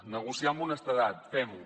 negociar amb honestedat fem ho